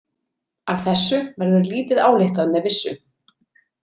Af þessu verður lítið ályktað með vissu.